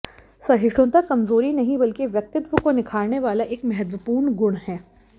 सहिष्णुता कमजोरी नहीं बल्कि व्यक्तित्व को निखारने वाला एक महत्वपूर्ण गुण है